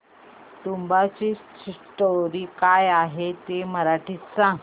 तुंबाडची स्टोरी काय आहे ते मराठीत सांग